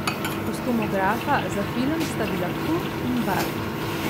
Kostumografa za film sta bila Kurt in Bart.